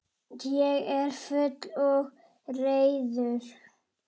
Ég er fúll og reiður.